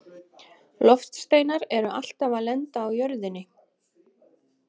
Loftsteinar eru alltaf að lenda á jörðinni..